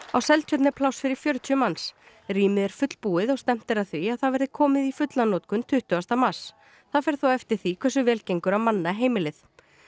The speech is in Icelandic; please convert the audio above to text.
á Seltjörn er pláss fyrir fjörutíu manns rýmið er fullbúið og stefnt er að því að það verði komið í fulla notkun tuttugasta mars það fer þó eftir því hversu vel gengur að manna heimilið